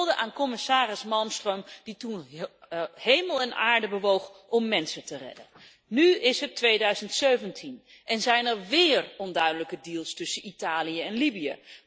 Hulde aan Commissaris Malmström die toen hemel en aarde heeft bewogen om mensen te redden. Nu is het 2017 en zijn er weer onduidelijke deals tussen Italië en Libië.